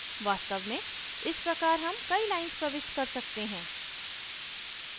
वास्तव में इस प्रकार हम कई lines प्रविष्ट कर सकते हैं